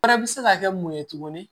Wɛrɛ bɛ se ka kɛ mun ye tuguni